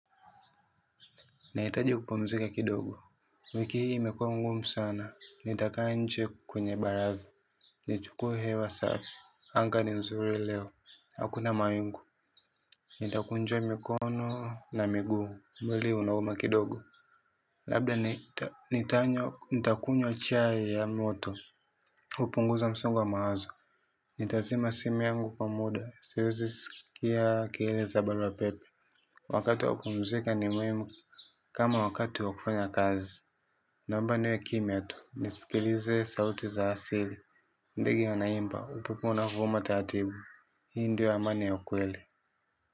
Naitaji kupumzika kidogo. Wiki hii imekua ngumu sana, nitakaa nje kwenye baraza. Nichukue hewa safi, anga ni nzuri leo, hakuna mawingu. Nitakunjua mikono na miguu, mwili unauma kidogo. Labda nitakunywa chai ya moto kupunguza msongo wa mawazo. Nitazima simi yangu kwa muda, siwezi sikia kile za barua pepe. Wakatu wakupumzika ni muhimu. Kama wakati wa kufanya kazi naomba niwe kimya tu. Nisikilize sauti za asili. Ndege wanaimba. Upepo unavuma taratibu. Hii ndio amani ya ukweli.